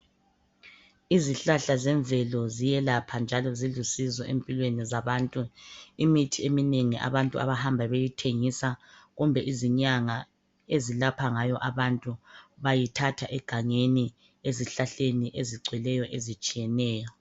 Izihlahla zemvelo ziyelapha njalo zilusizo empilweni zabantu. Imithi eminengi abantu abahamba beyi thengisa. Kumbe izinyanga ezilapha ngayo abantu bayithatha egangeni. Ezihlahleni ezigcweleyo ezitshiyeneyo.